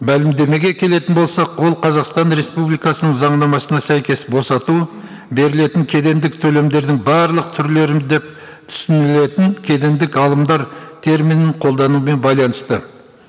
мәлімдемеге келетін болсақ ол қазақстан республикасының заңнамасына сәйкес босату берілетін кедендік төлемдердің барлық түрлерін деп түсінілетін кедендік алымдар терминін қолдануымен байланысты